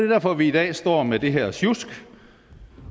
derfor vi i dag står med det her sjusk